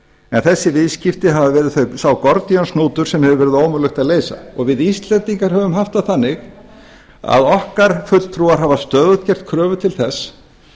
en þessi viðskipti hefur verið sá gordíonshnútur sem hefur verið ómögulegt að leysa og við íslendingar höfum haft það þannig að okkar fulltrúar hafa stöðugt gert kröfur til þess